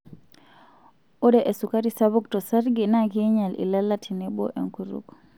Ore esukari sapuk tosarge naa keinyal ilala tenebo enkutuk.